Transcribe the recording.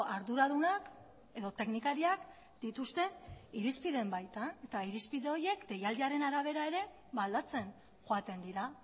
arduradunak edo teknikariak dituzte irizpideen baitan eta irizpide horiek deialdiaren arabera ere aldatzen joaten dira